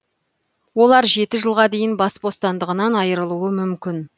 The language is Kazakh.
олар жеті жылға дейін бас бостандығынан айырылуы мүмкін